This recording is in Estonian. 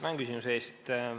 Tänan küsimuse eest!